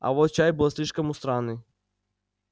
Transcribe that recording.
а вот чай был слишком у странный